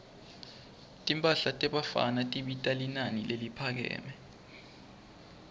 timphahla tebafana tibita linani leliphakeme